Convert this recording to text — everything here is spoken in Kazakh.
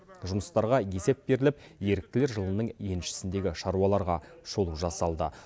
жұмыстарға есеп беріліп еріктілер жылының еншісіндегі шаруаларға шолу жасалды